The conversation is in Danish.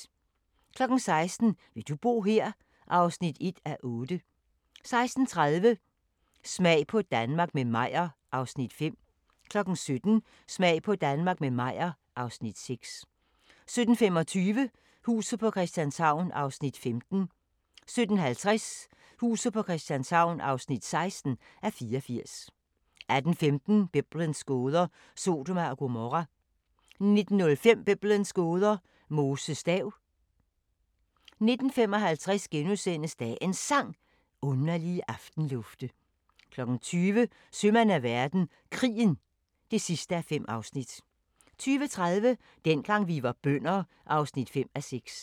16:00: Vil du bo her? (1:8) 16:30: Smag på Danmark – med Meyer (Afs. 5) 17:00: Smag på Danmark – med Meyer (Afs. 6) 17:25: Huset på Christianshavn (15:84) 17:50: Huset på Christianshavn (16:84) 18:15: Biblens gåder – Sodoma og Gomorra 19:05: Biblens gåder – Moses stav 19:55: Dagens Sang: Underlige aftenlufte * 20:00: Sømand af verden – Krigen (5:5) 20:30: Dengang vi var bønder (5:6)